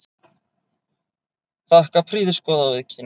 Þakka prýðisgóða viðkynningu.